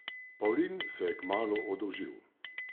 Pavlin se je kmalu oddolžil.